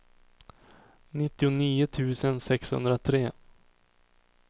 nittionio tusen sexhundratre